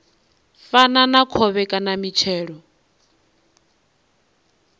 fana na khovhe kana mitshelo